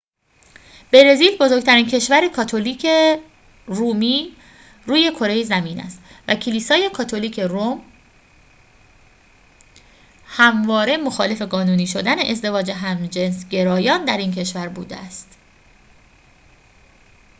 برزیل بزرگترین کشور کاتولیک رومی روی کره زمین است و کلیسای کاتولیک روم همواره مخالف قانونی شدن ازدواج همجنسگرایان در این کشور بوده است